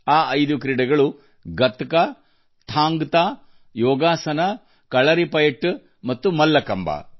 ಈ ಐದು ಕ್ರೀಡೆಗಳು ಗಟ್ಕಾ ಥಾಂಗ್ ಥಾ ಯೋಗಾಸನ ಕಲರಿಪಯಟ್ಟು ಮತ್ತು ಮಲ್ಲಕಂಭ